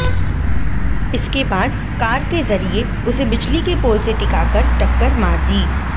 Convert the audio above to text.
इसके बाद कार के जरिए उसे बिजली के पोल से टिकाकर टक्कर मार दी